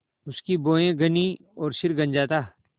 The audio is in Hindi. उसकी भौहें घनी और सिर गंजा था